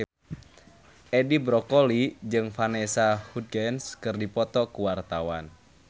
Edi Brokoli jeung Vanessa Hudgens keur dipoto ku wartawan